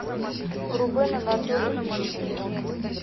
рубен анатольевич климов